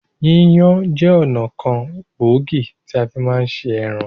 Yíyan jẹ́ ọ̀nà kan gbòógì tí a fi máa ń ṣe ẹran